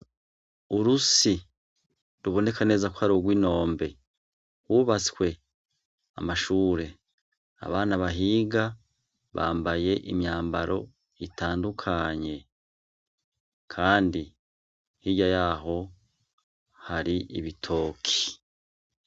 Urusi ruboneka neza ko ari urw'inombe hubatswe amashure, abana bahiga bambaye imyambaro itandukanye. Kandi hirya yaho hari ibitoki.